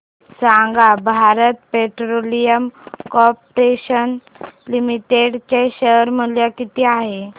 सांगा Bharat petroleum corporation limited चे share मूल्य किती आहे